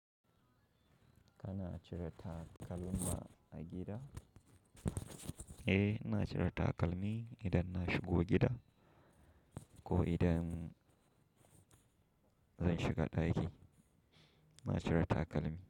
Kana cire takalmi a gida? Eh, ina cire takalmi idan na shigo gida ko idan zan shiga ɗaki ina cire takalmi.